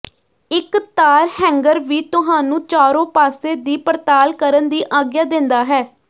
ਇੱਕ ਤਾਰ ਹੈਂਗਅਰ ਵੀ ਤੁਹਾਨੂੰ ਚਾਰੋ ਪਾਸੇ ਦੀ ਪੜਤਾਲ ਕਰਨ ਦੀ ਆਗਿਆ ਦਿੰਦਾ ਹੈ